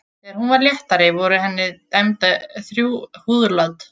Þegar hún varð léttari voru henni dæmd þrjú húðlát.